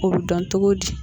O be dɔn togo di